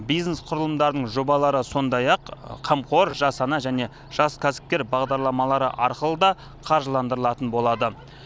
бизнес құрылымдарының жобалары сондай ақ қамқор жас ана және жас кәсіпкер бағдарламалары арқылы да қаржыландырылатын болады